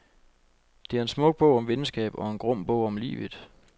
Det er en smuk bog om venskab og en grum bog om livet.